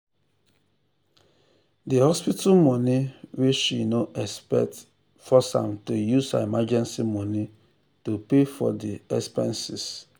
the hospital money wey she no expect force am to use her emergency money to pay for de expenses.